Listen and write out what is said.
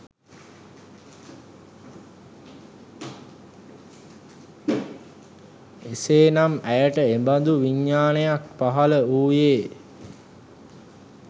එසේ නම් ඇයට එබඳු විඥානයක් පහළ වූයේ